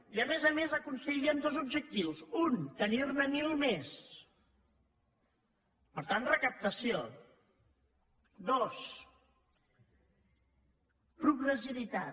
i a més a més aconseguiríem dos objectius un tenir ne mil més per tant recaptació dos progressivitat